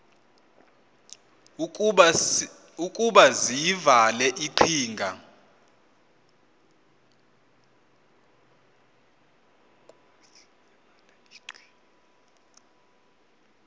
ukuba ziyile iqhinga